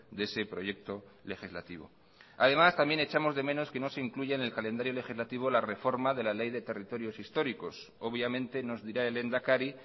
de ese proyecto legislativo además también echamos de menos que no se incluya en el calendario legislativo la reforma de la ley de territorios históricos obviamente nos dirá el lehendakari